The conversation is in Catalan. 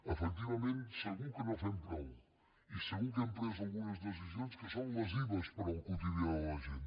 efectivament segur que no fem prou i segur que hem pres algunes decisions que són lesives per al quotidià de la gent